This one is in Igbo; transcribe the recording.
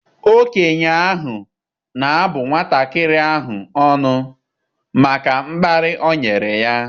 Okenye ahụ na-abụ nwatakịrị ahụ ọnụ maka mkparị o nyere ya.